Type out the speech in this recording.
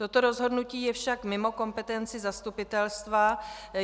Toto rozhodnutí je však mimo kompetenci zastupitelstva.